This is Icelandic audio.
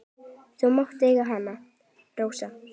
Þú mátt eiga hana, Rósa.